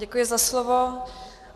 Děkuji za slovo.